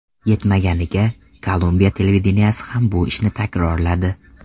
Yetmaganiga, Kolumbiya televideniyesi ham bu ishni takrorladi.